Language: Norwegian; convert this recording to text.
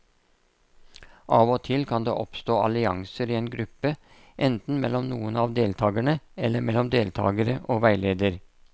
Av og til kan det oppstå allianser i en gruppe, enten mellom noen av deltakerne eller mellom deltakere og veileder.